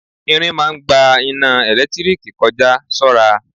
Irin ń máa ń gba iná ẹ̀lẹ́tíríkì kọ já, ṣọ́ra.